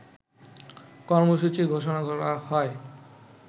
কর্মসূচি ঘোষণা করা হয়